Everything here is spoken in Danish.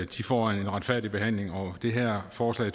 de får en retfærdig behandling og det her forslag